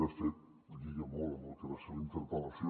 de fet lliga molt amb el que va ser la interpel·lació